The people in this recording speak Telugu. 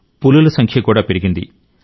పులుల సంఖ్య కూడా పెరిగింది